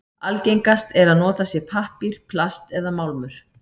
Algengast er að notað sé pappír, plast eða málmur.